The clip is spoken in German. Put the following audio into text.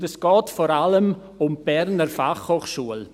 Und es geht vor allem um die BFH.